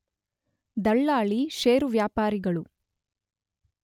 ದಳ್ಳಾಳಿ, share ವ್ಯಾಪಾರಿಗಳು